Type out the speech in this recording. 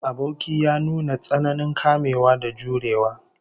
Aboki ya nuna tsananin kamewa da jurewa